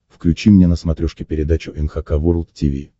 включи мне на смотрешке передачу эн эйч кей волд ти ви